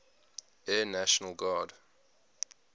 air national guard